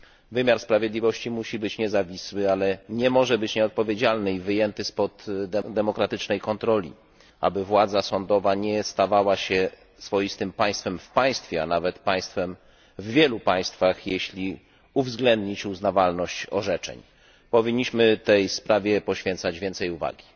Wymiar sprawiedliwości musi być niezawisły, ale nie może być nieodpowiedzialny i wyjęty spod demokratycznej kontroli, aby władza sądowa nie stawała się swoistym państwem w państwie, a nawet państwem w wielu państwach, jeśli uwzględnić uznawalność orzeczeń. Powinniśmy tej sprawie poświęcać więcej uwagi.